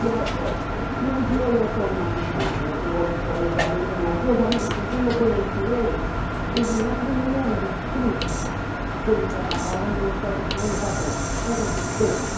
E é, E um dia eu tomando o o ônibus com as minhas duas amigas, com quem eu conheci ele, ele entra em mundo sujo, porque ele trabalhava no Ministério das Comunicações. Era dos